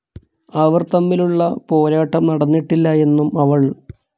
അവർ തമ്മിൽ ഉളള പോരാട്ടം നടന്നിട്ടില്ല എന്നും അവൾ